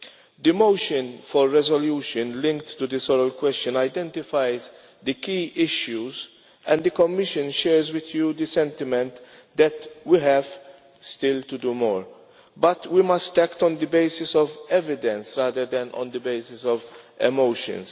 The motion for a resolution linked to this oral question identifies the key issues, and the Commission shares with you the sentiment that we still have to do more. But we must act on the basis of evidence, rather than on the basis of emotions.